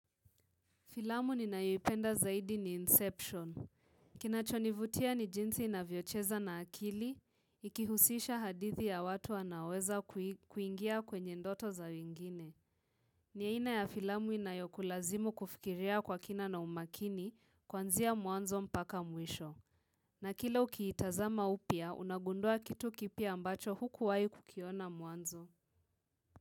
Filamu ni ninayoipenda zaidi ni Inception. Kinachonivutia ni jinsi inavyocheza na akili, ikihusisha hadithi ya watu wanaweza kuingia kwenye ndoto za wengine. Ni ainaa ya filamu inayokulazimu kufikiria kwa kina na umakini, kwanzia muanzo mpaka mwisho. Na kila ukiitazama upya, unagundua kitu kipya ambacho hukuwahi kukiona mwanzo.